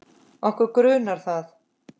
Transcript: Okkur grunar það.